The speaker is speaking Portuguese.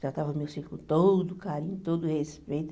Tratava o meu filho com todo carinho, todo respeito.